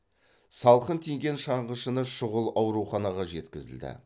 салқын тиген шаңғышыны шұғыл ауруханаға жеткізілді